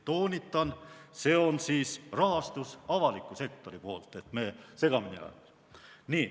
Toonitan, et see on avaliku sektori poolne rahastus, et me segamini ei ajaks.